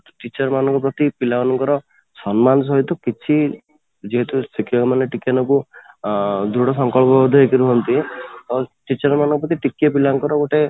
teacher ମାନଙ୍କ ପ୍ରତି ପିଲା ମାନଙ୍କର ସମ୍ମାନ ସହିତ କିଛି ଯେହେତୁ ଶିକ୍ଷକ ମାନେ ଟିକେ ନା କୁ ଅଂ ଦୃଢ ସଂକଳ୍ପ ଦେଇକି ରହନ୍ତି teacher ମାନଙ୍କ ପ୍ରତି ଟିକେ ପିଲା ଙ୍କର ଗୋଟେ